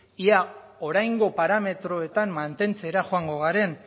ea oraingo parametroetan mantentzera joango garen